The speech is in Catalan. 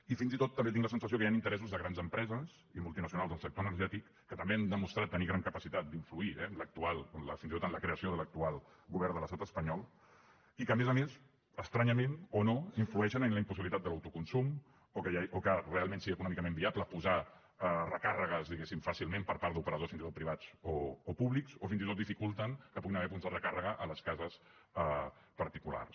i fins i tot també tinc la sensació que hi han interessos de grans empreses i multinacionals del sector energètic que també han demostrat tenir gran capacitat d’influir eh fins i tot en la creació de l’actual govern de l’estat espanyol i que a més a més estranyament o no influeixen en la impossibilitat de l’autoconsum o que realment sigui econòmicament viable posar recàrregues diguéssim fàcilment per part d’operadors fins i tot privats o públics o fins i tot dificulten que hi puguin haver punts de recàrrega a les cases particulars